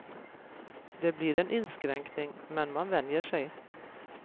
Det blir en inskränkning, men man vänjer sig.